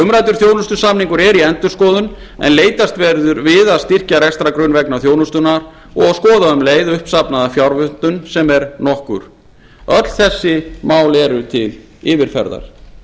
umræddur þjónustusamningur er í endurskoðun en leitast verður við að styrkja rekstrargrunn vegna þjónustunnar og skoða um leið uppsafnaða fjárvöntun sem er nokkur öll þessi mál eru til yfirferðar